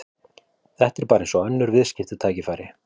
Þetta er bara eins og önnur viðskiptatækifæri.